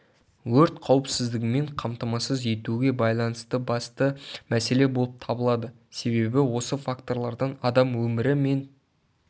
өрт қауіпсіздігімен қамтамасыз етуге байланысты басты мәселе болып табылады себебі осы факторлардан адам өмірі мен